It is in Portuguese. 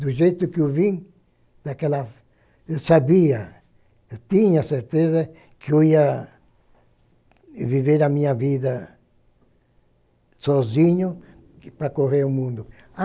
Do jeito que eu vim, naquela, eu sabia, eu tinha certeza que eu ia viver a minha vida sozinho para correr o mundo.